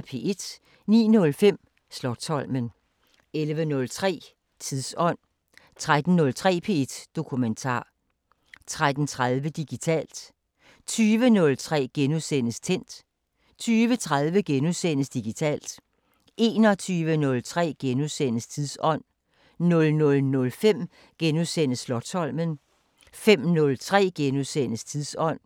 09:05: Slotsholmen 11:03: Tidsånd 13:03: P1 Dokumentar 13:30: Digitalt 20:03: Tændt * 20:30: Digitalt * 21:03: Tidsånd * 00:05: Slotsholmen * 05:03: Tidsånd *